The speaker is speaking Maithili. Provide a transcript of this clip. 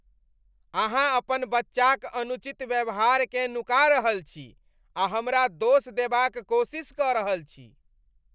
अहाँ अपन बच्चाक अनुचित व्यवहारकेँ नुका रहल छी आ हमरा दोष देबाक कोशिश कऽ रहल छी।